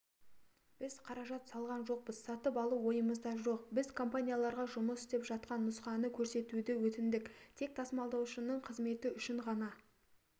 біз қаражат салған жоқпыз сатып алу ойымызда жоқ біз компанияларға жұмыс істеп жатқан нұсқаны көрсетуді өтіндік тек тасымалдаушының қызметі үшін ғана